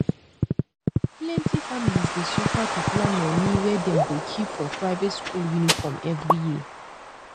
plent families dey suffer to plan money wey dem go keep for private school uniform every year